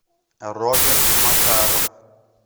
роберт макаров